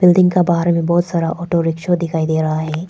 Building का बाहर में बहोत सारा ऑटो रिक्शा दिखाई दे रहा है।